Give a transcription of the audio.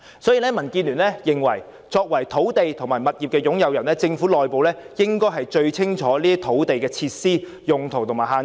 所以，民建聯認為，作為土地及物業擁有人，政府內部應該最清楚這些土地的設施、用途及限制。